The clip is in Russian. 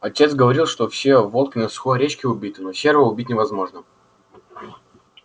отец говорил что все волки на сухой речке убиты но серого убить невозможно